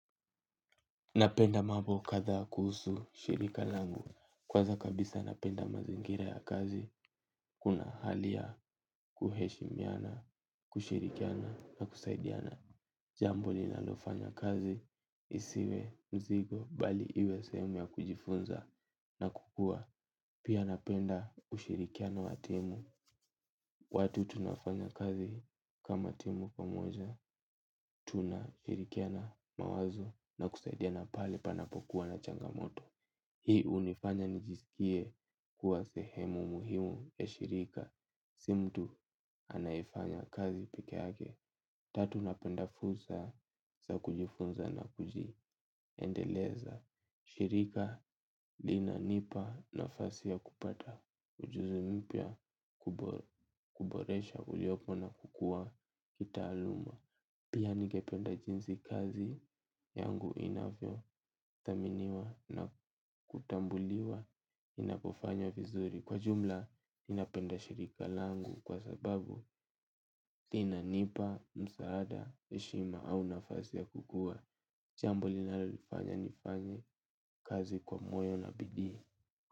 Napenda mambo kadha kuhusu shirika langu, kwanza kabisa napenda mazingira ya kazi, kuna haliya kuheshi miana, kushirikiana na kusaidiana. Jambo li nalofanya kazi, isiwe, mzigo, bali iwe sehemu ya kujifunza na kukua. Pia napenda ushirikiano watimu, watu tunafanya kazi kama timu pamoja, tuna shirikiana mawazo na kusaidiana pahali panapokuwa na changamoto. Hii hunifanya nijisikie kuwa sehemu muhimu ya shirika. Simtu anayefanya kazi pekeyake. Tatu napenda fursa za kujifunza na kujiendeleza. Shirika li na nipa na fasi ya kupata ujuzi mpya kuboresha uliopo na kukua kita aluma. Pia ningependa jinsi kazi yangu inavyo dhaminiwa na kutambuliwa inapofanya vizuri kwa jumla ninapenda shirika langu kwa sababu lina nipa, msaada, heshima au nafasi ya kukua. Jambo linalonifanya nifanye kazi kwa moyo na bidii.